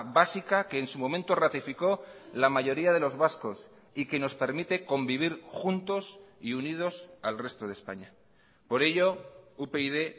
básica que en su momento ratificó la mayoría de los vascos y que nos permite convivir juntos y unidos al resto de españa por ello upyd